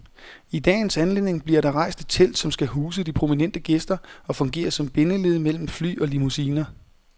I dagens anledning bliver der rejst et telt, som skal huse de prominente gæster og fungere som bindeled mellem fly og limousiner.